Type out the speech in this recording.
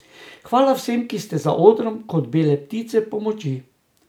Hvala vsem, ki ste za odrom kot bele ptice pomoči.